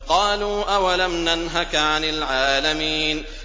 قَالُوا أَوَلَمْ نَنْهَكَ عَنِ الْعَالَمِينَ